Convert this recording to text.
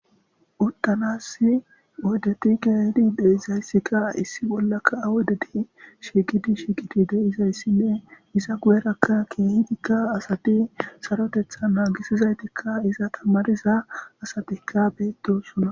Utanasi oydeti keehid de'izaysika issi bollaka oydeti shiiqid de'izaysinne iza guyeraka keehidika asati sarotetha nagisizaytika iza tamariza asatika biidi dosona